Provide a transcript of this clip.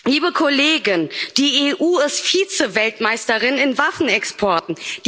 Liebe Kollegen, die EU ist Vize Weltmeisterin in Waffenexporten.